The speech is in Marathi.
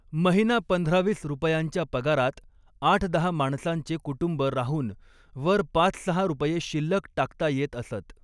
महिना पंधरावीस रुपयांच्या पगारात आठदहा माणसांचे कुटुंब राहून वर पाचसहा रुपये शिल्लक टाकता येत असत.